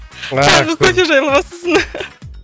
тағы кофе жайлы бастасын